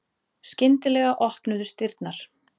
Skyndilega opnuðust dyrnar.